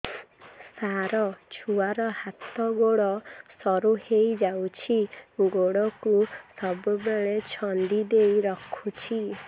ସାର ଛୁଆର ହାତ ଗୋଡ ସରୁ ହେଇ ଯାଉଛି ଗୋଡ କୁ ସବୁବେଳେ ଛନ୍ଦିଦେଇ ରଖୁଛି